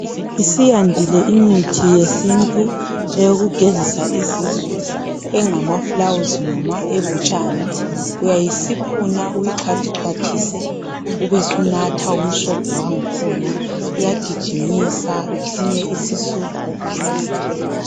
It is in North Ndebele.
Isiyadile imithi yesintu yokugezisa izisu engama fulawuzi noma ebutshani uyayisiphuna uyixhwathi xhwathise ubesunatha umsobho wakhona iyagigimisa izisu okuzwa.